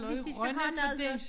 Hvis de skal have noget noget